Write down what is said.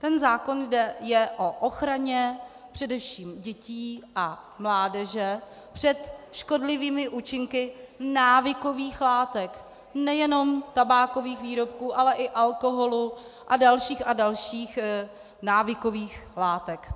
Ten zákon je o ochraně především dětí a mládeže před škodlivými účinky návykových látek, nejenom tabákových výrobků, ale i alkoholu a dalších a dalších návykových látek.